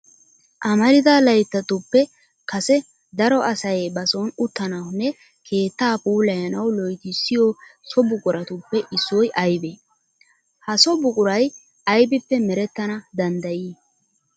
Amarida layttatuppe kase daro asay ba son uttanawunne keettaa puulayanawu loytissiyo so buquratuppe issoy aybee? Ha so buquray aybippe merettana danddayii?